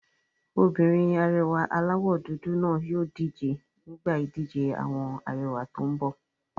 Obìnrin arẹwà aláwọ̀ dúdú náà yóò díje nígbà ìdíje àwọn arẹwà tó n bọ̀